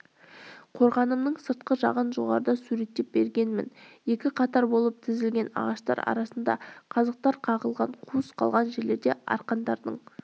қорғанымның сыртқы жағын жоғарыда суреттеп бергенмін екі қатар болып тізілген ағаштар арасына қазықтар қағылған қуыс қалған жерлер арқандардың